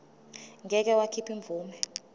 ngeke wakhipha imvume